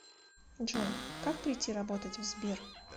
джой как прийти работать в сбер